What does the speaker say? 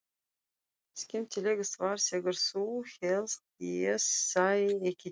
Skemmtilegast var þegar þú hélst ég sæi ekki til.